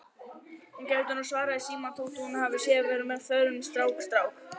Hún gæti nú svarað í símann þótt hún sé farin að vera með öðrum strák